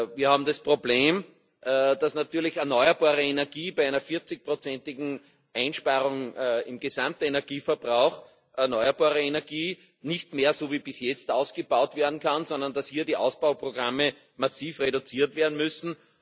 Wir haben das Problem, dass natürlich bei einer 40igen Einsparung im Gesamtenergieverbrauch erneuerbare Energie nicht mehr so wie bis jetzt ausgebaut werden kann, sondern dass hier die Ausbauprogramme massiv reduziert werden müssen.